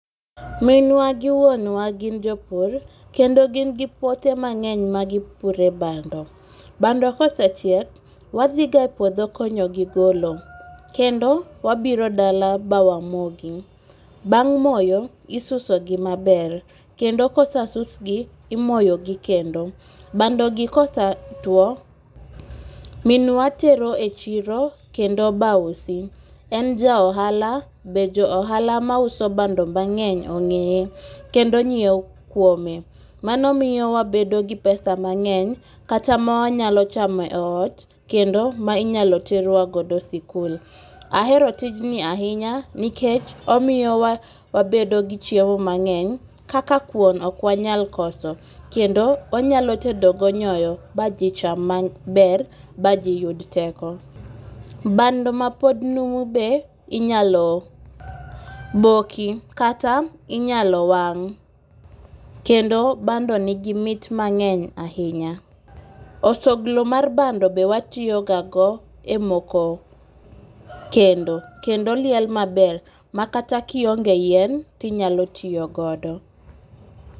Minwa gi wuonwa gin jo pur kendo gin gi puothe mang'eny magipuro e bando, bando kosechiek wathiga e puotho konyogi golo, kendo wabiro dala bawamogi, bang' moyo isusogi maber, kendo ka osesugi imoyogi kendo. bandogi kosatwo minwa tero e chiro kendo bausi, en ja ohala be jo ohala mauso bando bang'eny be ong'eye kendo nyiewo kuome, mano miyowa wabedo gi pesa mang'eny kata mawanyalo chamo e ot kendo ma inyalo terwagodo e sikul. Ahero tijni ahinya nikech omiyowa wabedo gi chiemo mang'eny kaka kuom ok wanyal koso kendo wanyalo tedogo nyowo baji cham maber baji yud teko. Bando ma pod numu be inyalo boki kata inyalo wang', kendo bando nigimit mang'eny ahinya, osoglo mag bado be watiyogogago e moko kendo, kendo liel maber makata ka iong'e yien tinyalo tiyogodo